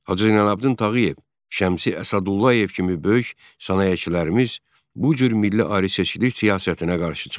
Hacı Zeynalabdin Tağıyev, Şəmsi Əsədullayev kimi böyük sənayeçilərimiz bu cür milli ayrı-seçkilik siyasətinə qarşı çıxırdılar.